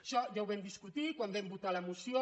això ja ho vam discutir quan vam votar la moció